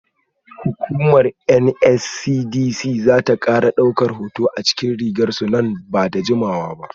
Hukumar NSCDC za ta kara daukar hoto a cikin rigar su nan ba da jimawa ba.